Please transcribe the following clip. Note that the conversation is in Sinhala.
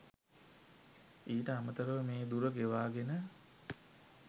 ඊට අමතරව මේ දුර ගෙවාගෙන